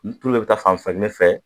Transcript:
Ni tulu bɛɛ bɛ taa fan fan kelen fɛ